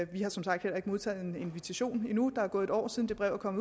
vi har som sagt heller ikke modtaget en invitation endnu der er næsten gået et år siden det brev kom